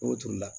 O tulu la